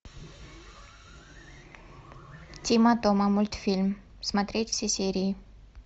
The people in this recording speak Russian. тима тома мультфильм смотреть все серии